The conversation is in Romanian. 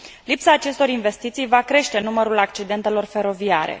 Lipsa acestor investiții va crește numărul accidentelor feroviare.